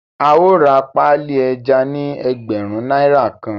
Ao rà páálí ejá ní ẹgbẹrun náírà kàn